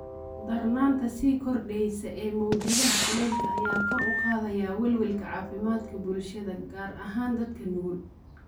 Darnaanta sii kordheysa ee mowjadaha kulaylka ayaa kor u qaadaya welwelka caafimaadka bulshada, gaar ahaan dadka nugul.